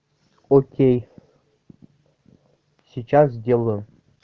окей сейчас сделаю